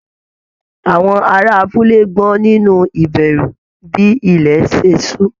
Àwọn ará abúlé gbọ̀n nínú ìbẹ̀rù bí ilẹ̀ ṣe ṣú